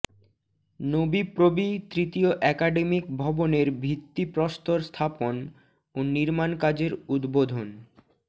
নোবিপ্রবি তৃতীয় অ্যাকাডেমিক ভবনের ভিত্তিপ্রস্তর স্থাপন ও নির্মাণ কাজের উদ্বোধন